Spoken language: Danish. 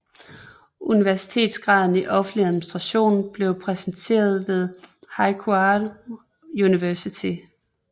Universitetsgraden i offentlig administration blev præsenteret ved Huaqiao University